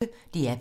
DR P1